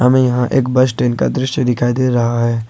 हमें यहां एक बस स्टैंड का दृश्य दिखाई दे रहा है।